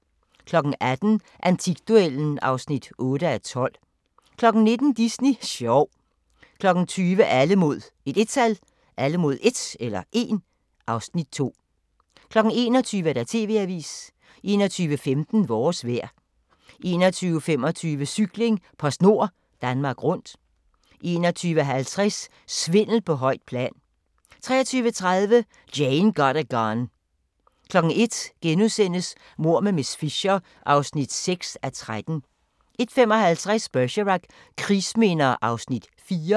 18:00: Antikduellen (8:12) 19:00: Disney sjov 20:00: Alle mod 1 (Afs. 2) 21:00: TV-avisen 21:15: Vores vejr 21:25: Cykling: PostNord Danmark Rundt 21:50: Svindel på højt plan 23:30: Jane Got a Gun 01:00: Mord med miss Fisher (6:13)* 01:55: Bergerac: Krigsminder (Afs. 4)